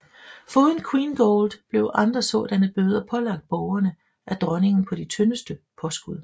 Foruden Queengold blev andre sådanne bøder pålagt borgerne af dronningen på de tyndeste påskud